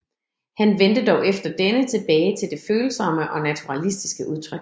Han vendte dog efter denne tilbage til det følsomme og naturalistiske udtryk